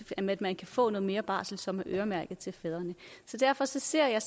til at man kan få noget mere barsel som er øremærket til fædrene derfor ser jeg